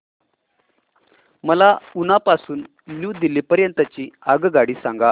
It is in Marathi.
मला उना पासून न्यू दिल्ली पर्यंत ची आगगाडी सांगा